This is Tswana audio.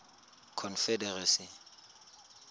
confederacy